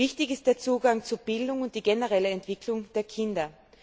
Wichtig sind der Zugang zu Bildung und die generelle Entwicklung der Kinder.